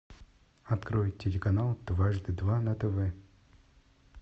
открой телеканал дважды два на тв